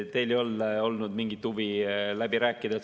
Teil ei olnud mingit huvi läbi rääkida.